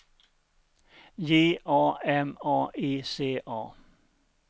J A M A I C A